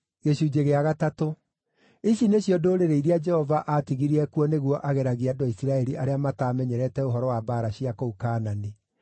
Ici nĩcio ndũrĩrĩ iria Jehova aatigirie kuo nĩguo ageragie andũ a Isiraeli arĩa mataamenyerete ũhoro wa mbaara cia kũu Kaanani.